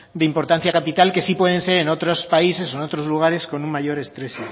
de importancia capital que sí pueden ser en otros países o en otros lugares con un mayor estrés